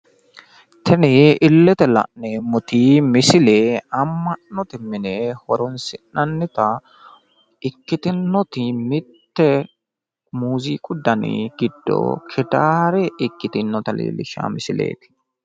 Tini illete la'neemmoti misile amma'note mine horoonsi'nannita ikkitinnoti mitte muuziiqu dani giddo gitaare ikkitinnota leellishshanno misileeti.